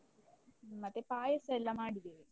ಮತ್ತೆ ಪಾಯಸ ಎಲ್ಲ ಮಾಡಿದ್ದೇವೆ.